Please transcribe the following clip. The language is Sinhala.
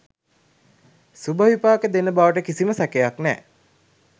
සුබ විපාක දෙන බවට කිසිම සැකයක් නෑ.